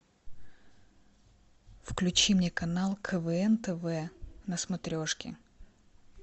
включи мне канал квн тв на смотрешке